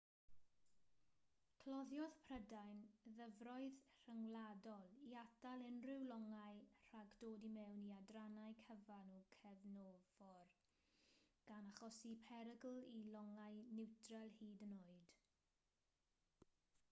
cloddiodd prydain ddyfroedd rhyngwladol i atal unrhyw longau rhag dod i mewn i adrannau cyfan o gefnfor gan achosi perygl i longau niwtral hyd yn oed